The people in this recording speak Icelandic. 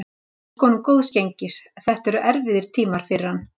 Ég óska honum góðs gengis, þetta eru erfiðir tímar fyrir hann.